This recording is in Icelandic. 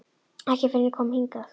Ekki fyrr en ég kom hingað.